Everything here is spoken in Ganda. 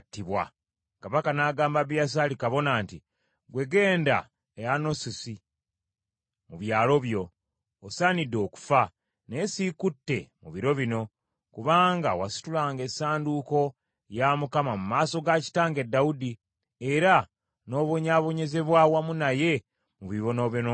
Kabaka n’agamba Abiyasaali kabona nti, “Ggwe genda e Anasosi mu byalo byo. Osaanidde okufa, naye siikutte mu biro bino, kubanga wasitulanga essanduuko ya Mukama mu maaso ga kitange Dawudi, era n’obonyaabonyezebwa wamu naye mu bibonoobono bye.”